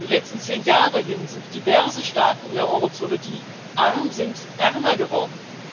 Über die letzten zehn Jahre hin sind diverse Staaten in der Eurozone, die arm sind, ärmer geworden